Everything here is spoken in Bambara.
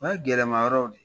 Nka gɛlɛmayɔrɔ o de ye